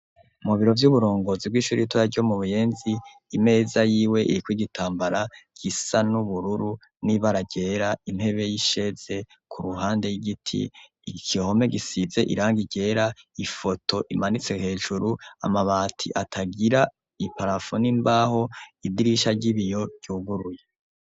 Mubiro vy'uburongozi bw'ishuritora ryo mu buyenzi imeza yiwe iriko igitambara gisa n'ubururu n'ibara rera impebe y'isheze ku ruhande y'igiti igihome gisize iranga irera ifoto imanitse hejuru amabati atagira iparafo n'imbaho idirisha ry'ibiyo conguruye.